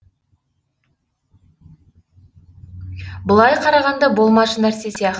былай қарағанда болмашы нәрсе сияқты